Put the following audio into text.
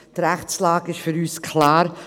Die Rechtslage ist für uns klar.